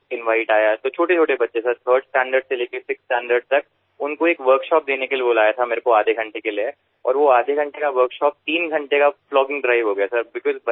সেখানকারএকটিস্কুলথেকেযখনআমন্ত্রণএসেছিল তৃতীয় থেকে ষষ্ঠ শ্রেণির ছোট বাচ্চাদের আধ ঘন্টার একটি কর্মশালা করানোর জন্য স্যার তখন সেই আধ ঘন্টার কর্মশালা তিন ঘন্টার প্লগিঙ ড্রাইভ এপরিণত হয়েছিল